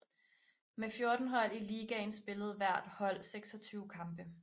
Med 14 hold i ligaen spillede hvert hold 26 kampe